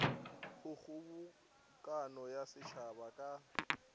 go kgobokano ya setšhaba ka